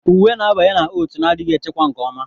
Uwe na-abanye na oat na-adịghị echekwa nke ọma.